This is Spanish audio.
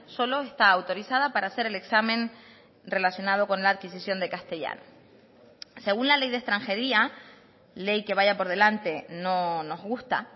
solo está autorizada para hacer el examen relacionado con la adquisición de castellano según la ley de extranjería ley que vaya por delante no nos gusta